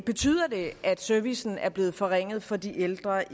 betyder det at servicen er blevet forringet for de ældre